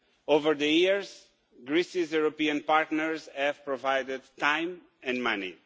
Over the years, Greece's European partners have provided time and money.